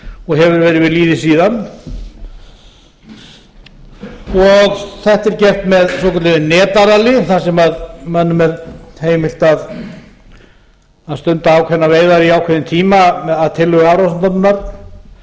og hefur verið við lýði síðan og þetta er gert með svokölluðu netaralli þar sem mönnum er heimilt að stunda ákveðnar veiðar í ákveðinn tíma að tillögu hafrannsóknastofnunar með ákveðinn